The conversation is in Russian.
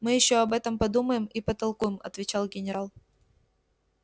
мы ещё об этом подумаем и потолкуем отвечал генерал